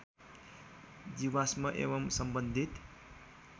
जीवाश्म एवम् सम्बन्धित